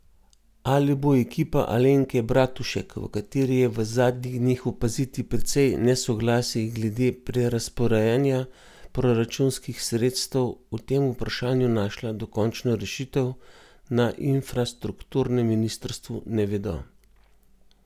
Ali bo ekipa Alenke Bratušek, v kateri je v zadnjih dneh opaziti precej nesoglasij glede prerazporejanja proračunskih sredstev, o tem vprašanju našla dokončno rešitev, na infrastrukturnem ministrstvu ne vedo.